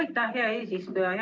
Aitäh, hea eesistuja!